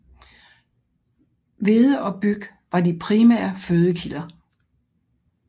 Hvede og byg var de primære fødekilder